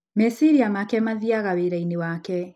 Meciria make mathiaga wĩra-inĩ wake.